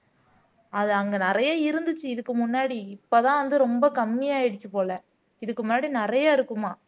அது அங்க நிறைய இருந்துச்சு இதுக்கு முன்னாடி இப்பதான் வந்து ரொம்ப கம்மியாயிடுச்சு போல இதுக்கு முன்னாடி நிறைய இருக்குமாம்